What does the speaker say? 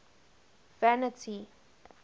vanity